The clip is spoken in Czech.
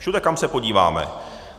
Všude, kam se podíváme.